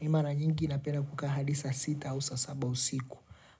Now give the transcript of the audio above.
Ni mara nyingi napenda kukaa hadi saa sita hadi saa saba usiku